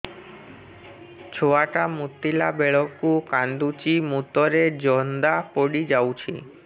ଛୁଆ ଟା ମୁତିଲା ବେଳକୁ କାନ୍ଦୁଚି ମୁତ ରେ ଜନ୍ଦା ପଡ଼ି ଯାଉଛି